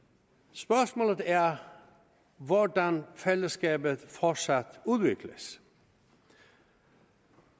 spørgsmålet er hvordan fællesskabet fortsat udvikles